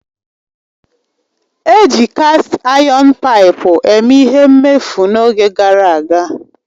Eji kast ayọn paipu eme ihe mmefu n'oge gara aga